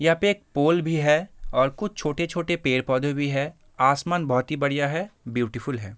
यहाँ पे एक पोल भी है और कुछ छोटे-छोटे पेड़-पौधे भी हैं आसमान बहोत ही बढ़िया है ब्यूटीफुल है।